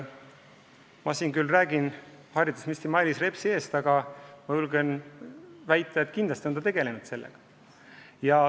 Ma küll räägin praegu haridusminister Mailis Repsi eest, aga julgen väita, et kindlasti on sellega tegeldud.